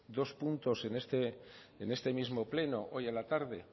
dos puntos en este mismo pleno hoy la tarde